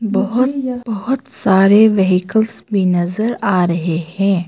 बहुत बहुत सारे व्हीकल्स भी नजर आ रहे हैं।